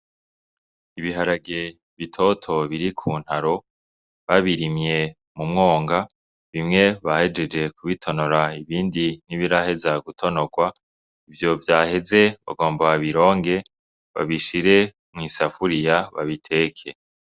Ibiharage bitoto biri ku ntaro babirimye mu mwonga bimwe bahejeje kubitonora ibindi n'ibirahe za gutonorwa ivyo vyaheze bagomba babironge babishire mw'isafuriya babiteke.